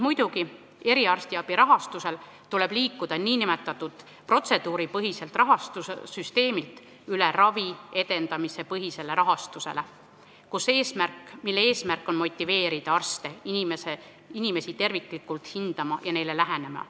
Muidugi, eriarstiabi rahastamisel tuleb liikuda nn protseduuripõhiselt rahastussüsteemilt ravi edendamise põhise rahastuse poole, mille eesmärk on motiveerida arste inimesi terviklikult hindama ja neile nii lähenema.